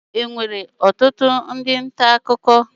Enwere ọtụtụ ndị nta akụkọ n'ọrụ?